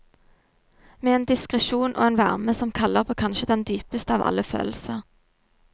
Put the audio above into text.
Med en diskresjon og en varme som kaller på kanskje den dypeste av alle følelser.